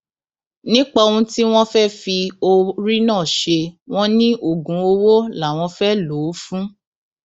nípa ohun tí wọn fẹẹ fi orí náà ṣe wọn ní oògùn owó làwọn fẹẹ lò ó fún